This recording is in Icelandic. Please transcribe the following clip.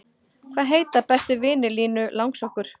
Hvaða heita bestu vinir Línu langsokkur?